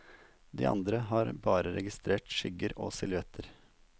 De andre har bare registrert skygger og silhuetter.